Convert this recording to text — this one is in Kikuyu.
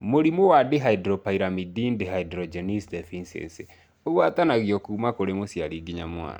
Mũrimũ wa Dihydropyrimidine dehydrogenase deficiency ũgwatanagio kuma kũrĩ mũciari nginya mwana